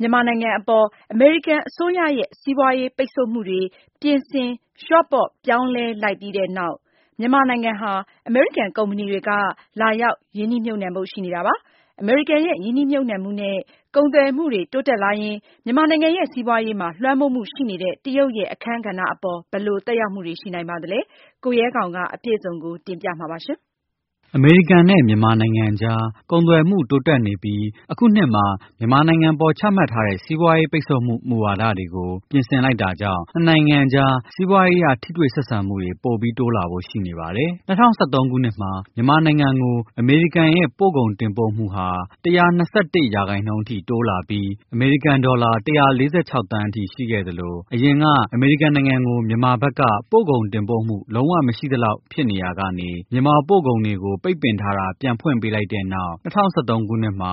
မြန်မာနိုင်ငံအပေါ် အမေရိကန် အစိုးရရဲ့ စီးပွားရေး ပိတ်ဆို့မှုတွေ ပြင်ဆင် လျှော့ပေါ့ ပြောင်းလဲလိုက်ပြီးတဲ့နောက်၊ မြန်မာနိုင်ငံဟာ အမေရိကန် ကုမ္ပဏီတွေက လာရောက် ရင်းနှီးမြှုပ်နှံဖို့ ရှိနေပါတယ်။ အမေရိကန်ရဲ့ ရင်းနှီးမြှုပ်နှံမှုနဲ့ ကုန်သွယ်မှုတွေ တိုးတက်လာရင် မြန်မာနိုင်ငံရဲ့ စီးပွားရေးမှာ လွှမ်းမိုးမှု ရှိနေတဲ့ တရုတ်ရဲ့ အခန်းကဏ္ဍ အပေါ် ဘယ်လို သက်ရောက်မှု ရှိနိုင်ပါသလဲ။ အပြည့်အစုံကို လေ့လာ စုံစမ်းထားတဲ့ ကိုရဲခေါင် က တင်ပြပါမယ်။ အမေရိကန် နဲ့ မြန်မာနိုင်ငံအကြား ကုန်သွယ်မှု တိုးတက်နေပြီး၊ မြန်မာနိုင်ငံအပေါ် ချမှတ်ထားတဲ့ စီးပွားရေး ပိတ်ဆို့မှု မူဝါဒတွေကို ပြင်ဆင်လိုက် တာ ကြောင့် နှစ်နိုင်ငံအကြား စီးပွားရေးအရ ထိတွေ့ဆက်ဆံမှု တွေ တိုးလာဖို့ ရှိနေပါတယ်။ ၂၀၁၃ ခုနှစ်မှာ မြန်မာနိုင်ငံကို အမေရိကန်ရဲ့ ပို့ကုန် တင်ပို့မှုဟာ ၁၂၁ ရာခိုင်နှုန်း တိုးပြီး ဒေါ်လာ ၁၄၆ သန်း အထိရှိခဲ့သလို၊ အရင်က အမေရိကန်နိုင်ငံ ကို မြန်မာဘက်က ပို့ကုန်တင်ပို့မှု မရှိသလောက်ဖြစ်နေရာကနေ မြန်မာ ပို့ကုန်တွေကို ပိတ်ပင်ထားတာ ပြန်ဖွင့်လိုက်တဲ့နောက် ၂၀၁၃ ခုနှစ်မှာ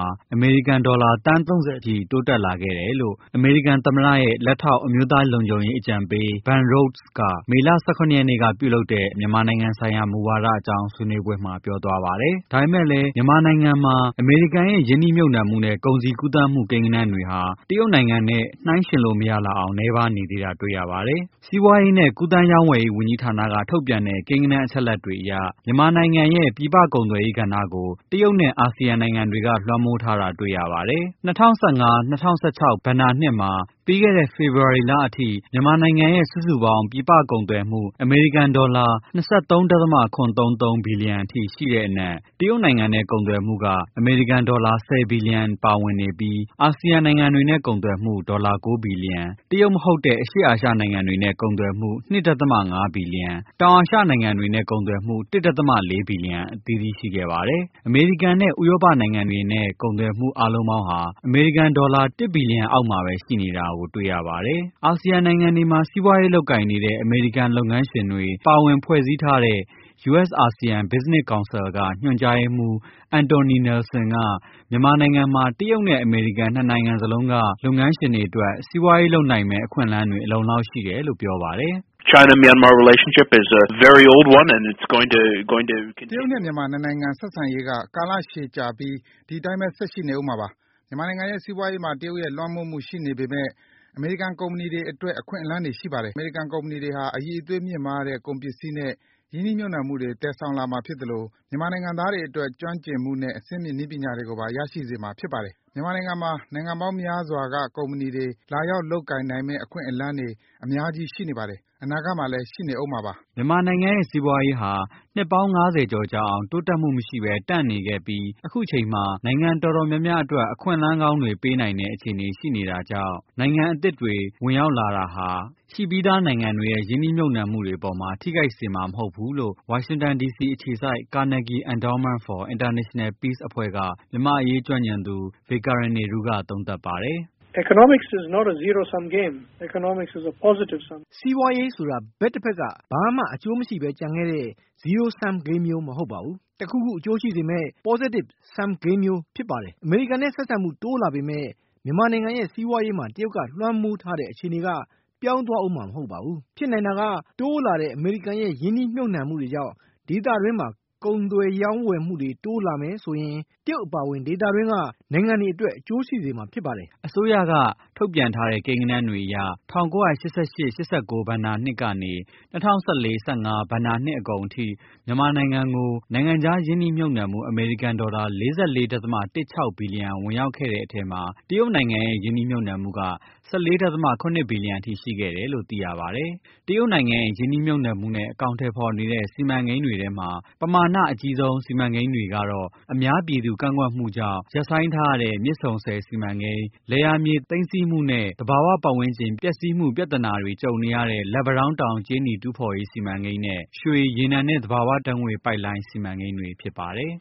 ဒေါ်လာ သန်း၃၀အထိ တိုးတက်လာခဲ့တယ်လို့ အမေရိကန် သမ္မတရဲ့ လက်ထောက် အမျိုးသား လုံခြုံရေး အကြံပေး Ben Rhodes က မေလ ၁၇ရက်နေ့က ပြုလုပ်တဲ့ အမေရိကန် အစိုးရရဲ့ မြန်မာနိုင်ငံ ဆိုင်ရာ မူဝါဒ အကြောင်း ဆွေးနွေးပွဲမှာ ပြောသွားပါတယ်။ ဒါပေမယ့်လည်း မြန်မာနိုင်ငံမှာ အမေရိကန်ရဲ့ ရင်းနှီးမြှုပ်နှံမှုနဲ့ ကုန်စည်ကူးသန်းမှု ကိန်းဂဏန်းတွေဟာ တရုတ်နိုင်ငံနဲ့ နှိုင်းယှဉ်လို့ မရလောက်အောင် နည်းပါး နေပါသေးတယ်။ စီးပွားရေး နဲ့ ကူးသန်း ရောင်းဝယ်ရေး ဝန်ကြီးဌာနက ထုတ်ပြန်တဲ့ ကိန်းဂဏန်း အချက်အလက်တွေ အရ မြန်မာနိုင်ငံရဲ့ ပြည်ပ ကုန်သွယ်ရေးကဏ္ဍကို တရုတ်နဲ့ အာဆီယံ နိုင်ငံတွေက လွှမ်းမိုးထားတာ ကို တွေ့ရပါတယ်။ ၂၀၁၅-၂၀၁၆ ဘဏ္ဍာနှစ်မှာ ပြီးခဲ့တဲ့ ဖေဖော်ဝါရီလအထိ မြန်မာနိုင်ငံရဲ့ စုစုပေါင်း ပြည်ပ ကုန်သွယ်မှု အမေရိကန် ဒေါ်လာ ၂၃.၇၃၃ ဘီလျံ ရှိတဲ့အနက် တရုတ်နိုင်ငံနဲ့ ကုန်သွယ်မှုက အမေရိကန် ဒေါ်လာ ၁၀ ဘီလျံ ပါဝင်နေပြီး၊ အာဆီယံ နိုင်ငံတွေနဲ့ ကုန်သွယ်မှု ဒေါ်လာ ၉ ဘီလျံ၊ တရုတ် မဟုတ်တဲ့ အရှေ့အာရှ နိုင်ငံတွေနဲ့ ကုန်သွယ်မှု ၂.၅ ဘီလျံ၊ တောင်အာရှ နိုင်ငံတွေနဲ့ ကုန်သွယ်မှု ၁.၄ ဘီလျံ အသီးသီး ရှိခဲ့ပါတယ်။ အမေရိကန်နဲ့ ဥရောပ နိုင်ငံတွေနဲ့ ကုန်သွယ်မှု အားလုံးပေါင်းဟာ ဒေါ်လာ ၁ ဘီလျံအောက်မှာပဲ ရှိနေတာ တွေ့ရပါတယ်။ အာဆီယံ နိုင်ငံတွေမှာ စီးပွားရေး လုပ်ကိုင်နေတဲ့ အမေရိကန် လုပ်ငန်းရှင်တွေ ပါဝင်ဖွဲ့စည်းထားတဲ့ US Asean Business Council က ညွှန်ကြားရေးမှုး Anthony Nelson က မြန်မာနိုင်ငံမှာ တရုတ်နဲ့ အမေရိကန် နှစ်နိုင်ငံလုံးက လုပ်ငန်းရှင်တွေ အတွက် စီးပွားရေး လုပ်နိုင်မယ့် အခွင့်အလမ်းတွေ အလုံအလောက် ရှိတယ်လို့ ပြောပါတယ်။ ”တရုတ်နဲ့ မြန်မာ နှစ်နိုင်ငံရဲ့ ဆက်ဆံရေးက နှစ်ကာလ ရှည်ကြာပြီး ဒီအတိုင်းပဲ ဆက်ရှိနေဦးမှာပါ။ မြန်မာနိုင်ငံရဲ့ စီးပွားရေးမှာ တရုတ်ရဲ့ လွှမ်းမိုးမှုရှိပေမယ့် အမေရိကန် ကုမ္ပဏီတွေအတွက် အခွင့်အလမ်းတွေရှိပါတယ်။ အမေရိကန် ကုမ္ပဏီတွေဟာ အရည်အသွေးမြင့်မားတဲ့ ကုန်ပစ္စည်းနဲ့ ရင်းနှီးမြှုပ်နှံမှုတွေ သယ်ဆောင်လာမှာ ဖြစ်သလို၊ မြန်မာနိုင်ငံသားတွေအတွက် ကျွမ်းကျင်မှုနဲ့ အဆင့်မြင့် နည်းပညာတွေကိုပါ ရရှိစေ မှာ ဖြစ်ပါတယ်။ မြန်မာနိုင်ငံမှာ နိုင်ငံပေါင်းများစွာက ကုမ္ပဏီတွေ လာရောက် လုပ်ကိုင်နိုင်မယ့် အခွင့်အလမ်းတွေ အများကြီး ရှိနေပါတယ်။ အနာဂတ်မှာလည်း ရှိနေဦးမှာပါ။” မြန်မာနိုင်ငံရဲ့ စီးပွားရေးဟာ နှစ်ပေါင်း ငါးဆယ်ကျော် ကြာအောင် တိုးတက်မှုမရှိပဲ တန့်နေခဲ့ပြီး၊ အခုအချိန်မှာ နိုင်ငံ တော်တော်များများအတွက် အခွင့်အလမ်း ကောင်းတွေ ပေးနိုင်တဲ့ အခြေအနေရှိနေတဲ့အတွက် နိုင်ငံအသစ်တွေ ဝင်ရောက်လာတာ ကြောင့် ရှိပြီးသား နိုင်ငံတွေရဲ့ ရင်းနှီးမြှုပ်နှံမှုတွေအပေါ် ထိခိုက် စေမှာ မဟုတ်ဘူးလို့ ဝါရှင်တန် ဒီစီ အခြေစိုက် Carnegie Endowment for International Peace အဖွဲ့က မြန်မာ့ အရေး ကျွမ်းကျင်သူ Vikram Nehru က ပြောပါတယ်။ ”စီးပွားရေးဆိုတာ တစ်ဘက်က ဘာမှ အကျိုးမရှိပဲ ကျန်ခဲ့တဲ့ zero-sum game မျိုး မဟုတ်ပါဘူး။ တစ်ခုခု အကျိုးရှိစေမယ့် positive sum game မျိုး ဖြစ်ပါတယ်။ အမေရိကန်နဲ့ ဆက်ဆံမှု တိုးလာပေမယ့် မြန်မာနိုင်ငံရဲ့ စီးပွားရေးမှာ တရုတ်က လွှမ်းမိုးထားတဲ့ အခြေအနေက ပြောင်းသွားဦးမှာ မဟုတ်ပါဘူး။ ဖြစ်နိုင်တာက တိုးလာတဲ့ အမေရိကန်ရဲ့ ရင်းနှီးမြှုပ်နှံမှုတွေကြောင့် ဒေသတွင်းမှာ ကုန်သွယ် ရောင်းဝယ်မှုတွေ တိုးလာမယ်ဆိုရင် တရုတ် အပါအဝင် ဒေသတွင်းက နိုင်ငံတွေအတွက် အကျိုးရှိစေမှာ ဖြစ်ပါတယ်။ ” အစိုးရက ထုတ်ပြန်ထားတဲ့ ကိန်းဂဏန်းတွေအရ ၁၉၈၈-၈၉ ဘဏ္ဍာနှစ်ကနေ ၂၀၁၄-၁၅ ဘဏ္ဍာနှစ် အကုန် အထိ မြန်မာနိုင်ငံကို နိုင်ငံခြားရင်းနှီးမြှုပ်နှံမှု အမေရိကန် ဒေါ်လာ ၄၄.၁၆ ဘီလျံ ဝင်ရောက်ခဲ့တဲ့အထဲမှာ တရုတ်နိုင်ငံရဲ့ ရင်းနှီးမြှုပ်နှံမှုက ၁၄.၇ ဘီလျံအထိ ရှိခဲ့တယ်လို့ သိရပါတယ်။ တရုတ်နိုင်ငံရဲ့ ရင်းနှီးမြှုပ်နှံမှုနဲ့ အကောင်အထည်ဖော်နေတဲ့ စီမံကိန်းတွေထဲမှာ ပမာဏ အကြီးဆုံး စီမံကိန်းတွေကတော့ အများပြည်သူ ကန့်ကွက်မှုတွေကြောင့် ရပ်ဆိုင်းထားရတဲ့ မြစ်ဆုံဆည် စီမံကိန်း၊ လယ်မြေတွေ သိမ်းဆည်းတာနဲ့ သဘာ၀ ပတ်ဝန်းကျင် ပျက်စီးမှု ပြသနာတွေ ကြုံ နေရတဲ့ လက်ပံတောင်းတောင် ကြေးနီ တူးဖော်ရေး စီမံကိန်းနဲ့ ရွှေ ရေနံနဲ့ သဘာ၀ ဓါတ်ငွေ့ ပိုက်လိုင်း စီမံကိန်းတွေ ဖြစ်ပါတယ်။